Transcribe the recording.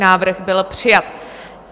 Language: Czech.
Návrh byl přijat.